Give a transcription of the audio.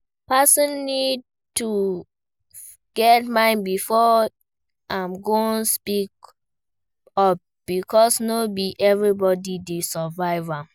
Person need to fit get mind before im go speak up because no be everybody dey survive am